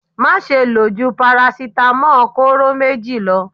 Máṣe lò jú paracetamol kóró méjì lọ.